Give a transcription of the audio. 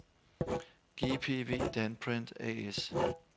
GPV Danprint A/S